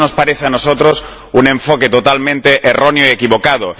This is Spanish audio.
Eso nos parece a nosotros un enfoque totalmente erróneo y equivocado.